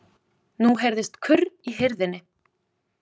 Nú heyrðist kurr í hirðinni.